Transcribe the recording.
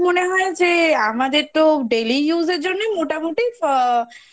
মনে হয় যে আমাদের তো Daily Use এর জন্যই মোটামুটি আ